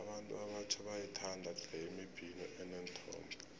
abantu abatjha bayayithanda tle imibhino eneenthombe